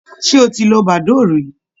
Ṣé o ti lo badoo rí?